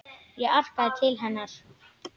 Ég arkaði til hennar.